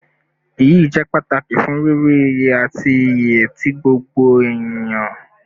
Iyi jẹ pataki fun riri iye ati iye ti gbogbo eniyan